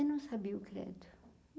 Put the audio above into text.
Eu não sabia o credo.